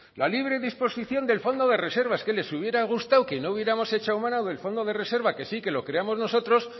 la libre disposición del fondo de reservas les hubiera gustado que no hubiéramos echado mano del fondo de reserva que sí que lo creamos nosotros